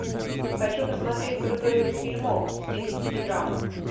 хочу посмотреть крутой фильмок в стилистике драмы